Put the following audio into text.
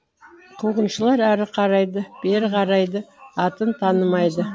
қуғыншылар әрі қарайды бері қарайды атын танымайды